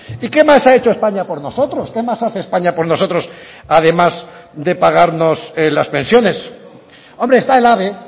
y qué más ha hecho españa por nosotros qué más hace españa por nosotros además de pagarnos las pensiones hombre está el ave